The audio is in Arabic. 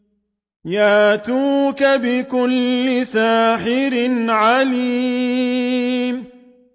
يَأْتُوكَ بِكُلِّ سَاحِرٍ عَلِيمٍ